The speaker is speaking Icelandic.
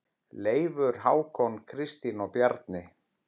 Leifur, Hákon, Kristín og Bjarni.